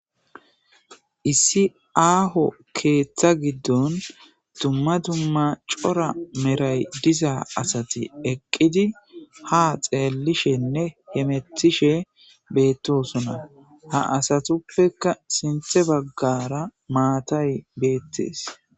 Issi aaho keeththa giddon dumma dumma cora meray diza asay eqqidi ha xeellishenne hamettishe beettosona. Ha asatuppeka sinthe baggara maatay beettees.